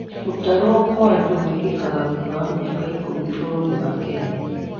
Gũtarwo kwa andu gwĩkĩkaga thutha wa mĩaka ikumi bũrũrĩni wa Kenya.